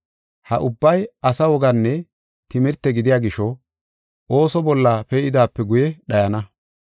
Ha ubbay asa woganne timirte gidiya gisho ooso bolla pee7idaape guye dhayana.